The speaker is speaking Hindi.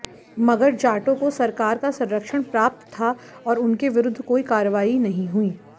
मगर जाटो को सरकार का संरक्षण प्राप्त था और उनके विरुद्ध कोई कार्रवाई नहीं हुई